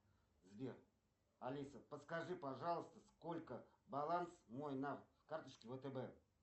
сбер алиса подскажи пожалуйста сколько баланс мой на карточке втб